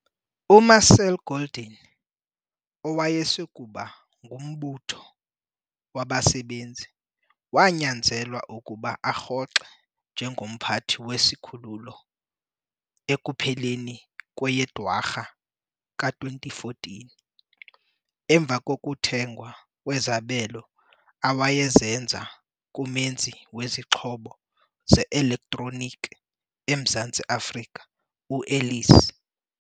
UMarcel Golding, owayesakuba ngumbutho wabasebenzi, wanyanzelwa ukuba arhoxe njengomphathi wesi sikhululo ekupheleni kweyeDwarha ka-2014, emva kokuthengwa kwezabelo awayezenza kumenzi wezixhobo ze-elektroniki eMzantsi Afrika u-Ellies.